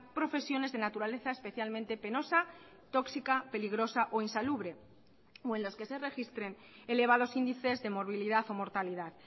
profesiones de naturaleza especialmente penosa tóxica peligrosa o insalubre o en los que se registren elevados índices de movilidad o mortalidad